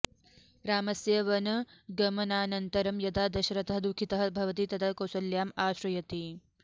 रामस्य वनगमनानन्तरं यदा दशरथः दुःखितः भवति तदा कौसल्याम् आश्रयति